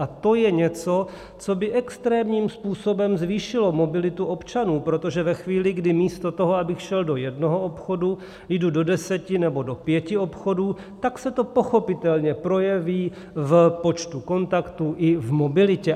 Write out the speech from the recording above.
A to je něco, co by extrémním způsobem zvýšilo mobilitu občanů, protože ve chvíli, kdy místo toho, abych šel do jednoho obchodu, jdu do deseti nebo do pěti obchodů, tak se to pochopitelně projeví v počtu kontaktů i v mobilitě.